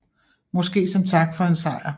Måske som tak for en sejr